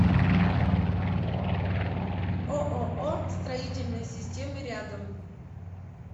ооо строительные системы рядом